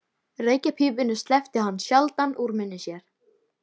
Reykjarpípunni sleppti hann sjaldan úr munni sér.